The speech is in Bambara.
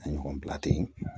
A ɲɔgɔn bila ten